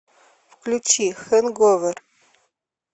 включи хэнговер